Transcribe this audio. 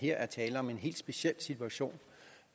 her er tale om en helt speciel situation